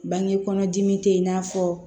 Bange kɔnɔ dimi tɛ i n'a fɔ